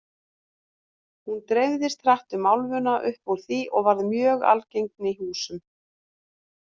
Hún dreifðist hratt um álfuna upp úr því og varð mjög algeng í húsum.